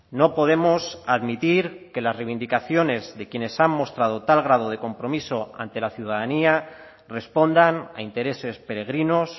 no podemos admitir que las reivindicaciones de quienes han mostrado tal grado de compromiso ante la ciudadanía respondan a intereses peregrinos